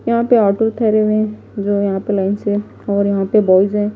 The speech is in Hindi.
यहां पे ऑटो ठहरे हुए हैं जो यहां पे लाइन से और यहां पे बॉयस हैं।